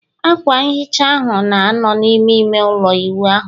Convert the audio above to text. akwa nghicha ahụ, na-anọ n'ime ime ụlọ ịwụ ahụ